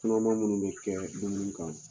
dɔw bɛ kɛ